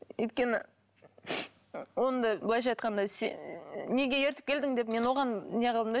өйткені оның да былайша айтқанда неге ертіп келдің деп мен оған не қылдым да